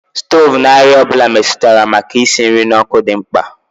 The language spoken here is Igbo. Stovu na àrịá ọ bụla metụtara maka isi nri n'ọkụ dị mkpa